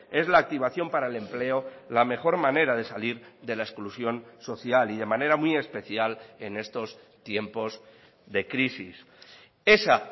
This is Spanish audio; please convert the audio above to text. es la activación para el empleo la mejor manera de salir de la exclusión social y de manera muy especial en estos tiempos de crisis esa